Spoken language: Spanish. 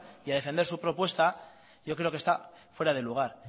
y a defender su propuesta yo creo que esta fuera de lugar